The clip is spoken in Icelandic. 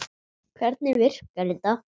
Hvernig virkar þetta?